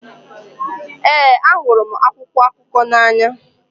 Ee, ahụrụ m akwụkwọ akụkọ n'anya.